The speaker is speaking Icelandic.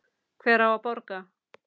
Hver á að borga?